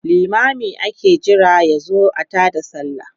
limamin ake Jira yazo a taada sallah